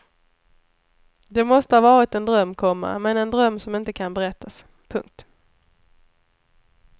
Det måste ha varit en dröm, komma men en dröm som inte kan berättas. punkt